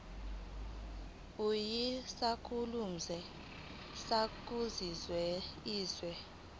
uyisakhamuzi sakuliphi izwe